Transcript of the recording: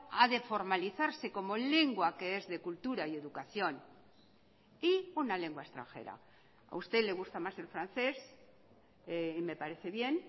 ha de formalizarse como lengua que es de cultura y educación y una lengua extranjera a usted le gusta más el francés y me parece bien